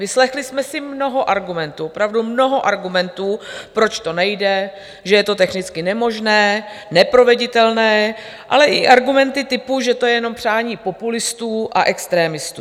Vyslechli jsme si mnoho argumentů, opravdu mnoho argumentů, proč to nejde, že je to technicky nemožné, neproveditelné, ale i argumenty typu, že to je jenom přání populistů a extremistů.